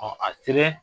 a selen